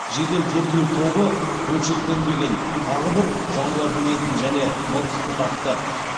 жедел тергеу тобы бөлшектенбеген тағы бір жануардың етін және мылтықты тапты